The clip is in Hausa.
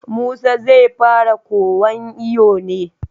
Musa zai fara kowan iyo ne?